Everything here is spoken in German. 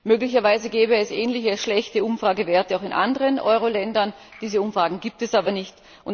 Möglicherweise gäbe es ähnliche schlechte Umfragewerte auch in anderen Euro Ländern diese Umfragen gibt es aber nicht.